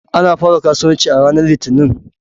Ana fara kasuwanci a ranar Litinin.